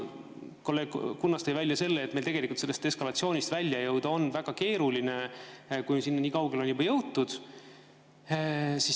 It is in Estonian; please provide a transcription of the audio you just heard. Kolleeg Kunnas tõi välja selle, et meil tegelikult sellest eskalatsioonist välja jõuda on väga keeruline, kui on juba nii kaugele jõutud.